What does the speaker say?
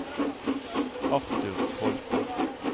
Arthur Holthe